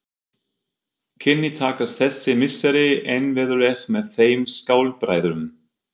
Kynni takast þessi misseri innvirðuleg með þeim skáldbræðrum.